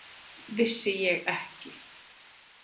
Vissi ég ekki!